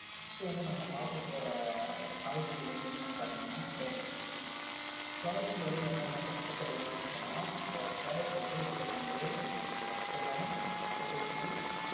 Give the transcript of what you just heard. அடுத்து வந்து நம்ம பார்க்கபோற காய்கறி வந்து என்னென்னு பார்த்தீங்கன்னா carrot carrot ல வந்து என்னென்ன சத்துக்கள் வந்து இருக்குன்னா இந்த carrot ல வந்து vitamin A புரதம், கொழுப்பு